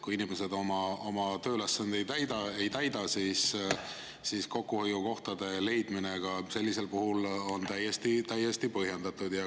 Kui inimesed oma tööülesandeid ei täida, siis on kokkuhoiukohtade leidmine sellisel puhul täiesti põhjendatud.